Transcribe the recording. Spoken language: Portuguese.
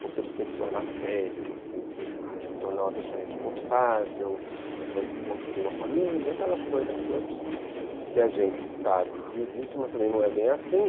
Porque você tem que se tornar sério, você tem que se tornar uma pessoa responsável, você vai construir uma família, aquelas coisas todas que a gente sabe que existem, mas também não é bem assim.